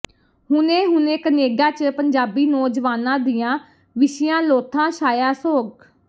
ਹੁਣੇ ਹੁਣੇ ਕਨੇਡਾ ਚ ਪੰਜਾਬੀ ਨੌਜਵਾਨਾਂ ਦੀਆਂ ਵਿਛੀਆਂ ਲੋਥਾਂ ਛਾਇਆ ਸੋਗ